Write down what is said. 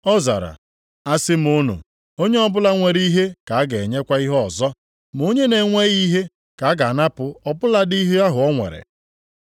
“Ọ zara, ‘Asị m unu, onye ọbụla nwere ihe ka a ga-enyekwa ihe ọzọ, ma onye na-enweghị ihe ka a ga-anapụ ọ bụladị ihe ahụ o nwere.